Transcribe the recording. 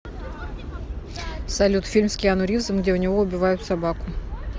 салют фильм с киану ривзом где у него убивают собаку